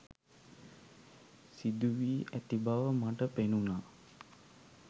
සිදු වී ඇතිබව මට පෙනුනා.